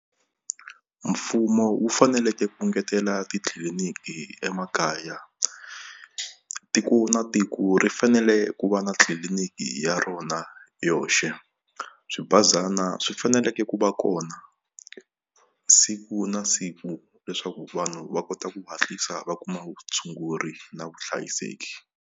Mfumo wu faneleke ku engetela titliliniki emakaya tiko na tiko ri fanele ku va na tliliniki ya rona yona yoxe swibazana swi faneleke ku va kona siku na siku leswaku vanhu va kota ku hatlisa va kuma vutshunguri na vuhlayiseki.